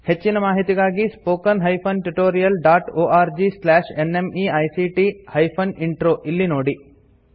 ಹೆಚ್ಚಿನ ಮಾಹಿತಿಗಾಗಿ spoken hyphen tutorial dot org slash NMEICT hyphen intro ಇಲ್ಲಿ ನೋಡಿ